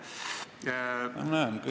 Ma näen kõike, ei ole muret.